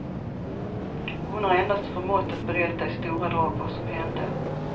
Hon har endast förmått att berätta i stora drag vad som hände.